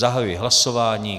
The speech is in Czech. Zahajuji hlasování.